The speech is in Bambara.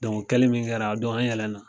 o kɛli min kɛra, an yɛlɛn na